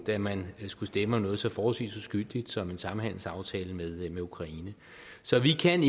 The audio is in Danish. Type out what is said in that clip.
da man skulle stemme om noget så forholdvis uskyldigt som en samhandelsaftale med ukraine så vi kan